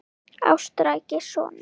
Ástkæri sonur